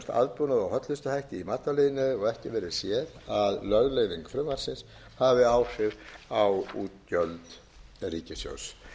og hollustuhætti í matvælaiðnaði og ekki verður séð að lögleiðing frumvarpsins hafi áhrif á útgjöld ríkissjóðs